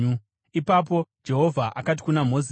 Ipapo Jehovha akati kuna Mozisi,